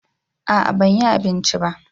a'a ban yi abinci ba